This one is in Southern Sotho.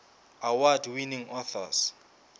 award winning authors